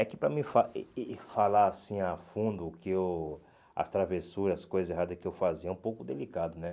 É que para me eh eh falar assim a fundo que eu as travessuras, as coisas erradas que eu fazia, é um pouco delicado, né?